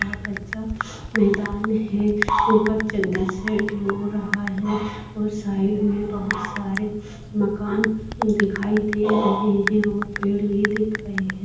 यह कच्छ मैदान हैं ऊपर हो रहा है और साइड मे बहुत सारे मकान दिखाई दे रहे हैं और पेड़ भी दिख रहे हैं।